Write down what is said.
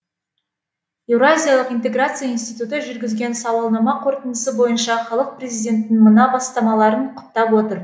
еуразиялық интеграция институты жүргізген сауалнама қорытындысы бойынша халық президенттің мына бастамаларын құптап отыр